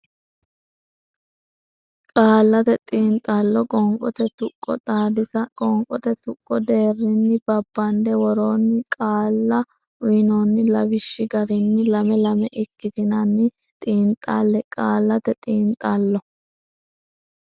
Qaallate Xiinxallo Qoonqote Tuqqo Xaadisa qoonqote tuqqo deerrinni babbande worroonni qaalla uynoonni lawishshi garinni lame lame ikkitinanni xiinxalle Qaallate Xiinxallo.